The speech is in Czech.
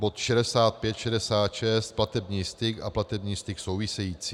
Bod 65, 66 - platební styk a platební styk související.